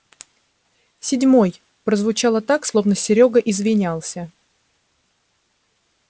седьмой прозвучало так словно серёга извинялся